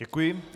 Děkuji.